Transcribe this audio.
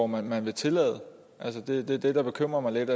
man vil tillade altså det er det der bekymrer mig lidt